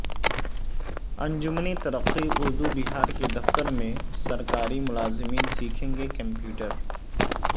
انجمن ترقی اردو بہار کے دفتر میں سرکاری ملازمین سیکھیں گے کمپیوٹر